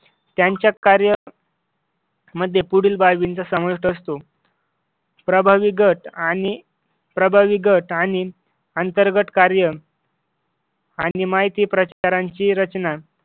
त्यांच्या कार्य मध्ये पुढील बाबींचा समावेश असतो प्रभावी गट आणि प्रभावी गट आणि अंतर्गत कार्य आणि माहिती प्रसारांची रचना